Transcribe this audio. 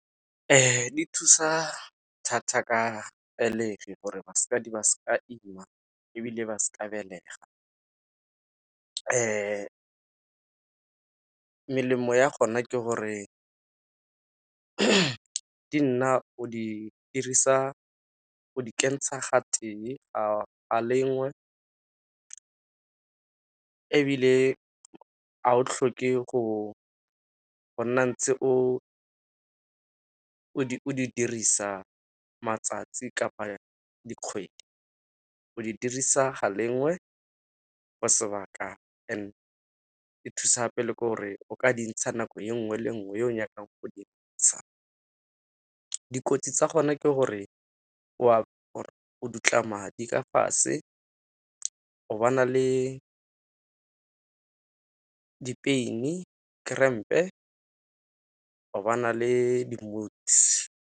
Di thusa thata ka pelegi gore basadi ba seke ba ima, ebile ba seka belega. Melemo ya gona ke gore o di dirisa, go di kentsha ga tee ga lengwe, ebile ga o tlhoke go nna ntse o di dirisa matsatsi kapa dikgwedi. O di dirisa ga lengwe for sebaka and-e e thusa gape le ke gore o ka dintsha nako e nngwe le nngwe e o nyakang go di ntsa. Dikotsi tsa gona ke gore o dutla madi ka fatshe, o ba na le pain-i, kerempe, go ba na le di-moods.